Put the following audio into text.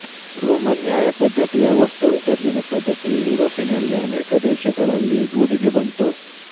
Roman ನ್ಯಾಯ ಪದ್ಧತಿಯ ವಸ್ತು ವಿಸರ್ಜನ ಪದ್ಧತಿ ಯೂರೋಪಿನ ಅನೇಕ ದೇಶಗಳಲ್ಲಿ ರೂಢಿಗೆ ಬಂತು